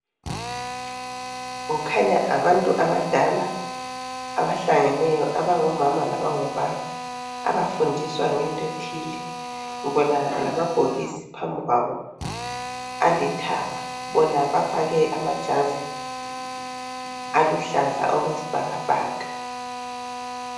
Kukhanya ngabantu abadala abahlangeneyo. Abangomama labangobaba. Abafundiswa nento ethile. Ngibona lamabhokisi phambi kwabo. Alithanga. Bona bafake amajazi, aluhlaza, okwesibhakabhaka.